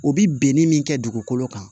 O bi ni min kɛ dugukolo kan